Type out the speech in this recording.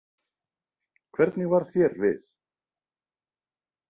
Hvernig varð þér við?